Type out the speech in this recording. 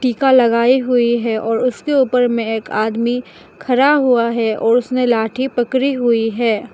टीका लगाई हुई है और उसके ऊपर में एक आदमी खरा हुआ है और उसने लाठी पकड़ी हुई है।